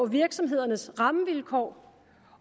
virksomhedernes rammevilkår